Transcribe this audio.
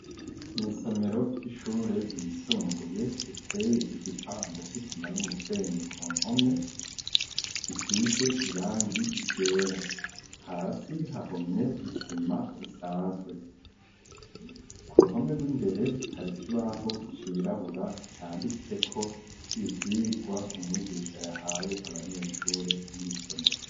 Mw'isomero ry'ishure yisumbuye riteye igipanda c'isima n'umusenyi ,ku mpome isize irangi ryera ,hasi hahomye isima isanzwe, ku ruhome rw'imbere hari ikibaho cirabura canditseko ivyigwa umwigisha yahaye abanyeshure n'isomero.